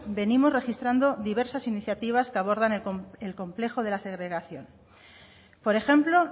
venimos registrando diversas iniciativas que abordan el complejo de la segregación por ejemplo